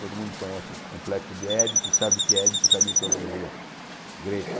Todo mundo conhece o complexo de Édipo e sabe que é Édipo da mitologia grega.